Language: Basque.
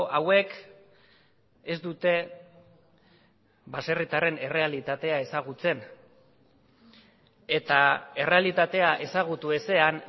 hauek ez dute baserritarren errealitatea ezagutzen eta errealitatea ezagutu ezean